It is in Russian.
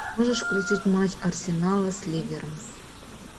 можешь включить матч арсенала с ливером